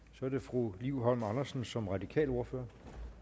så er det fru liv holm andersen som radikal ordfører